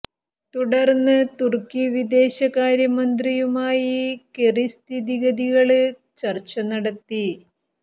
തുടര്ന്ന് തുര്ക്കി വിദേശകാര്യ മന്ത്രിയുമായി കെറി സ്ഥിതിഗതികള് ചര്ച്ച നടത്തി